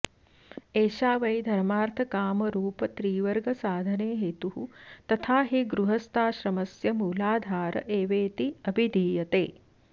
एषा वै धर्मार्थकामरुपत्रिवर्गसाधने हेतुः तथा हि गृहस्थाश्रमस्य मूलाधार एवेति अभिधीयते